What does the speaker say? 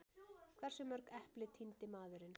Hversu mörg epli tíndi maðurinn?